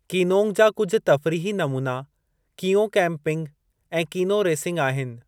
कीनोंग जा कुझ तफ़रीही नमूना कींओ कैंपिंग ऐं कीनो रेसिंग आहिनि।